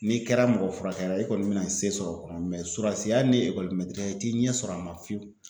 N'i kɛra mɔgɔ furakɛla ye i kɔni bɛna se sɔrɔ o kɔnɔ sɔrasiya ni ekɔlimɛtiriya i t'i ɲɛ sɔrɔ a ma fiyewu